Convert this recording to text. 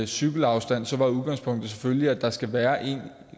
cykelafstand var udgangspunktet selvfølgelig at der skal være en